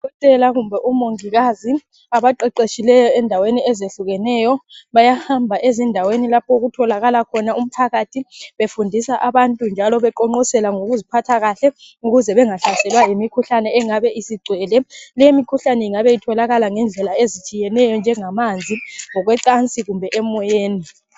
odokotela kumbe omongikazi abaqeqetshileyo endaweni ezehlukeneyo bayahamba ezindaweni lapho okutholakala khona umphakathi befundisa abantu njalo beqonqosela ngokuziphatha kahle ukuze bengahlaselwa yimikhuhlane engabe isisgcwele le imikhuhlane ingabe itholakala ngendlela eztshiyeneyo njengamanzi ngokwecansi kumbe emoyeni